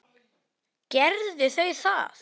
Gerðu þau það.